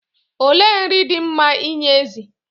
Olee nri dị mma inye ezi?